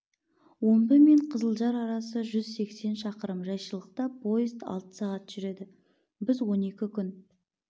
омбы мен қызылжар арасы жүз сексен шақырым жайшылықта поезд алты сағат жүреді біз он екі күн